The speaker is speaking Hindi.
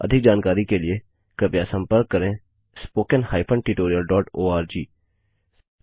अधिक जानकारी के लिए कृपया हमें contactspoken हाइफेन tutorialओआरजी पर लिखें